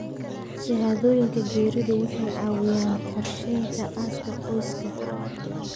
Shahaadooyinka geeridu waxay caawiyaan qorsheynta aaska qoyska.